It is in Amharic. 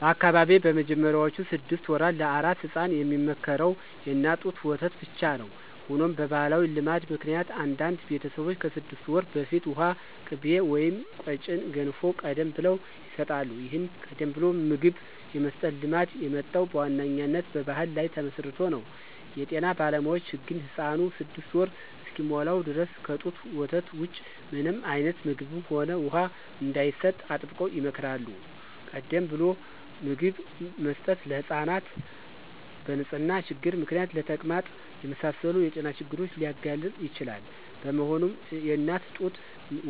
በአካባቢዬ በመጀመሪያዎቹ ስድስት ወራት ለአራስ ሕፃናት የሚመከረው የእናት ጡት ወተት ብቻ ነው። ሆኖም በባሕላዊ ልማድ ምክንያት አንዳንድ ቤተሰቦች ከስድስት ወር በፊት ውሃ፣ ቅቤ ወይም ቀጭን ገንፎ ቀደም ብለው ይሰጣሉ። ይህን ቀደም ብሎ ምግብ የመስጠት ልማድ የመጣው በዋነኛነት በባሕል ላይ ተመስርቶ ነው። የጤና ባለሙያዎች ግን ሕፃኑ ስድስት ወር እስኪሞላው ድረስ ከጡት ወተት ውጪ ምንም አይነት ምግብም ሆነ ውሃ እንዳይሰጥ አጥብቀው ይመክራሉ። ቀደም ብሎ ምግብ መስጠት ሕፃናትን በንጽህና ችግር ምክንያት ለተቅማጥ የመሳሰሉ የጤና ችግሮች ሊያጋልጥ ይችላል። በመሆኑም፣ የእናት ጡት